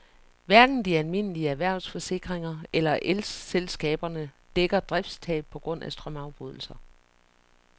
Hverken de almindelige erhvervsforsikringer eller elselskaberne dækker driftstab på grund af strømafbrydelser.